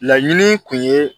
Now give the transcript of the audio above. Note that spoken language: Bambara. Laɲini kun ye